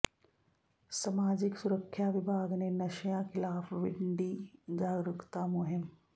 ਸਮਾਜਿਕ ਸੁਰੱਖਿਆ ਵਿਭਾਗ ਨੇ ਨਸ਼ਿਆਂ ਖਿਲਾਫ ਵਿੱਢੀ ਜਾਗਰੂਕਤਾ ਮੁਹਿੰਮ